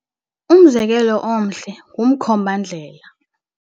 Umzekelo omhle ngumkhombandlela.